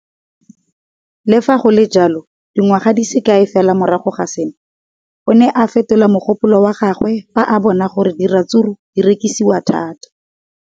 Le fa go le jalo, dingwaga di se kae fela morago ga seno, o ne a fetola mogopolo wa gagwe fa a bona gore diratsuru di rekisiwa thata.